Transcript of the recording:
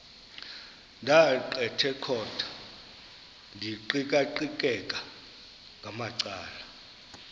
ndaqetheqotha ndiqikaqikeka ngamacala